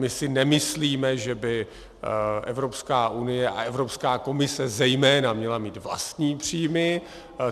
My si nemyslíme, že by Evropská unie a Evropská komise zejména měly mít vlastní příjmy.